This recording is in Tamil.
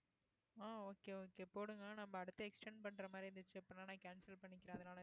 ஆ okay okay போடுங்க நம்ம அடுத்து extend பண்ற மாதிரி இருந்துச்சு அபப்டின்னா நான் cancel பண்ணிக்கறேன்